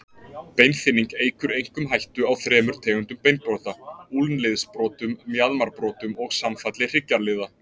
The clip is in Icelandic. Beinþynning eykur einkum hættu á þremur tegundum beinbrota, úlnliðsbrotum, mjaðmarbrotum og samfalli hryggjarliða.